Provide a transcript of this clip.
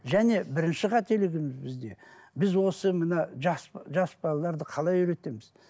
және бірінші қателігіміз бізде біз осы мына жас жас балаларды қалай үйретеміз